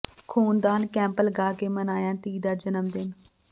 ਖ਼ੂਨਦਾਨ ਕੈਂਪ ਲਗਾ ਕੇ ਮਨਾਇਆ ਧੀ ਦਾ ਜਨਮ ਦਿਨ